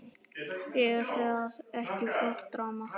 Er það ekki flott drama?